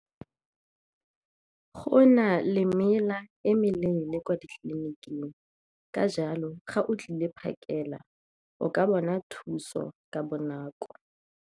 Go na le mela e meleele kwa ditleliniking ka jalo ga o tlile phakela o ka bona thuso ka bonako.